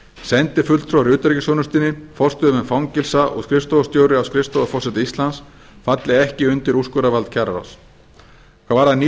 sendifulltrúar í utanríkisþjónustunni forstöðumenn fangelsa og skrifstofustjóri á skrifstofu forseta íslands falli ekki undir úrskurðarvald kjararáðs hvað varðar ný